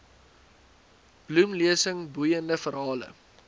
bloemlesing boeiende verhale